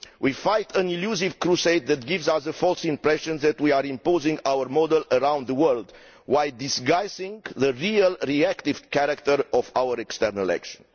We are fighting an elusive crusade that gives us a false impression that we are imposing our model around the world while disguising the real reactive character of our external action.